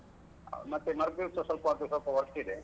ಮತ್ತೆ ಮರುದಿವಸ ಸ್ವಲ್ಪ ಅದು ಸ್ವಲ್ಪ work ಇದೆ.